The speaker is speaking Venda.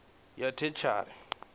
ya theshiari i tshi tea